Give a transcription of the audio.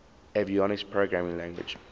avionics programming language